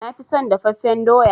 Na fi son dafaffen doya.